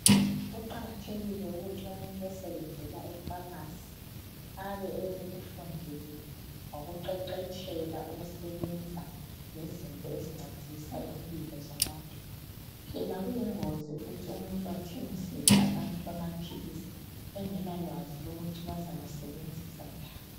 Kuqakathekile ukuthi umuntu osebenzela eFamasi abe ekufundele wakuqeqetshela ukusebenza lezinto ezincedisa impilo zabantu. Phela kuyingozi ukuthi umuntu athengisele abantu amaphilisi engela lwazi ukuthi bazawasebenzisa njani.